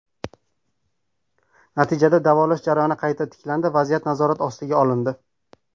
Natijada davolash jarayoni qayta tiklandi, vaziyat nazorat ostiga olindi.